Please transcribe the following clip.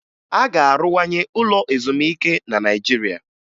A ga-arụwanye ụlọ ezumike na naịjirịa